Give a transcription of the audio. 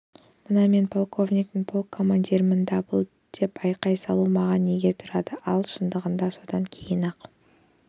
мына мен полковникпін полк командирімін дабыл деп айқай салу маған неге тұрады ал шындығында содан кейін-ақ